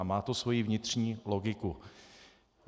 A má to svoji vnitřní logiku.